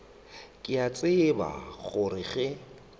ke a tseba gore ge